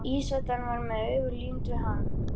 Ísætan var með augun límd við hann.